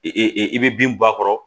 E e i bɛ bin bɔ a kɔrɔ